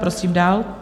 Prosím dál.